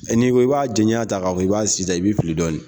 Ni ko i b'a jaɲa ta ka fɔ i b'a sisan i be fili dɔɔni.